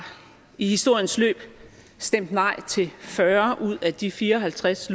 i historiens løb stemt nej til fyrre ud af de fire og halvtreds